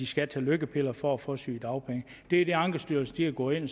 skal tage lykkepiller for at få sygedagpenge det er det ankestyrelsen er gået ind